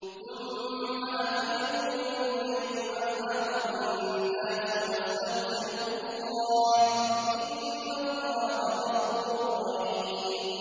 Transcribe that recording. ثُمَّ أَفِيضُوا مِنْ حَيْثُ أَفَاضَ النَّاسُ وَاسْتَغْفِرُوا اللَّهَ ۚ إِنَّ اللَّهَ غَفُورٌ رَّحِيمٌ